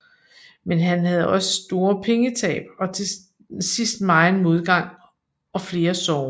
Men han havde også store pengetab og til sidst megen modgang og flere sorger